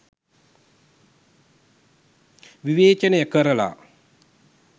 විවේචනය කරලා